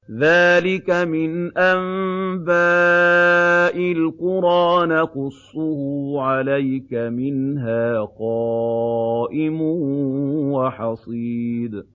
ذَٰلِكَ مِنْ أَنبَاءِ الْقُرَىٰ نَقُصُّهُ عَلَيْكَ ۖ مِنْهَا قَائِمٌ وَحَصِيدٌ